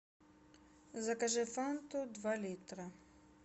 закажи фанту два литра